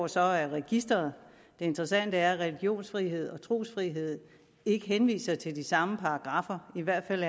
så af registeret det interessante er at religionsfrihed og trosfrihed ikke henviser til de samme paragraffer i hvert fald